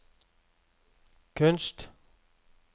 kunst